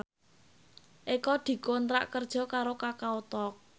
Eko dikontrak kerja karo Kakao Talk